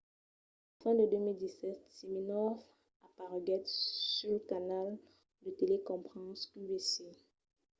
a la fin de 2017 siminoff apareguèt sul canal de telecrompas qvc